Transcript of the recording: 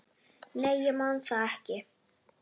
Nei, ég man það ekki.